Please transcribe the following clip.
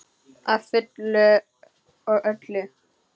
Að fullu og öllu.